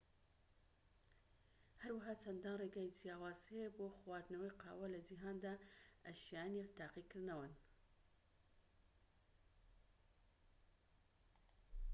هەروەها چەندان ڕێگەی جیاواز هەیە بۆ خواردنەوەی قاوە لە جیهاندا ئە شایەنی تاقیکردنەوەن